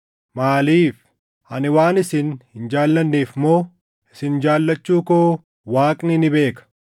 Maaliif? Ani waan isin hin jaallanneef moo? Isin jaallachuu koo Waaqni ni beeka!